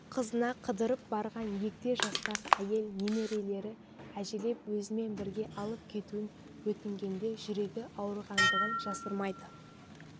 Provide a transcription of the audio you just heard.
қызына қыдырып барған егде жастағы әйел немерелері әжелеп өзімен бірге алып кетуін өтінгенде жүрегі ауырғандығын жасырмайды